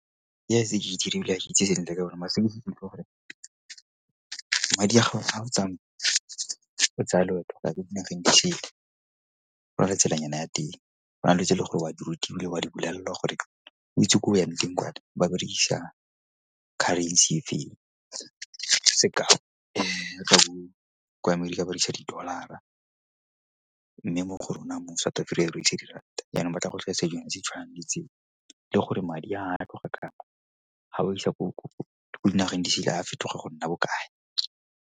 ke e dirile ke itse sentle ka yona mara since before. Madi a ga o tsaya loeto la ko dinageng di sele go na le tselanyana ya teng. Go na le dilo tse e le gore o a di rutiwa, o a di bolelelwa gore o itse ko o yang teng kwa ba berekisa currency e feng. kwa Amerika ba berekisa di-Dollar-ra mme mo go rona re berekisa di-Rand-a yanong ba tla go tlhalosetsa dilonyana tse di tshwanang le tseo. E le gore madi ga ba isa ko dinageng di sele a fetoga go nna bokae.